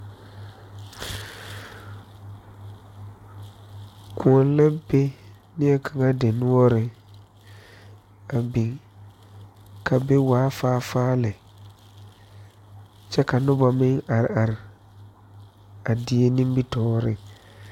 Kõɔ la be neɛ kaŋa dinoɔreŋ a biŋ a be waa faa faa lɛ kyɛ ka nobɔ meŋ are are a die nimitooreŋ.